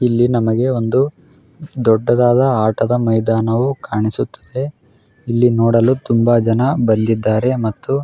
ಇಲ್ಲಿ ನಮಗೆ ಒಂದು ದೊಡ್ಡದಾದ ಆಟದ ಮೈದಾನವು ಕಾಣಿಸುತ್ತದೆ ಅಮ್ತ್ತು ಇಲ್ಲಿ ನೋಡಲು ತುಂಬಾ ಜನ ಬಂದಿದ್ದಾರೆ ಮತ್ತು --